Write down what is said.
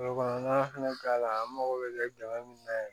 kɔnɔna fana k'a la an mago bɛ kɛ jama min na